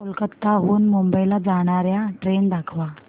कोलकाता हून मुंबई ला जाणार्या ट्रेन दाखवा